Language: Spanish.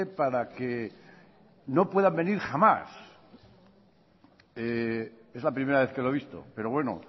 para que no puedan venir jamás es la primera vez que lo he visto pero bueno